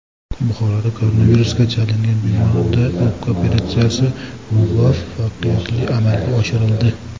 Buxoroda koronavirusga chalingan bemorda o‘pka operatsiyasi muvaffaqiyatli amalga oshirildi.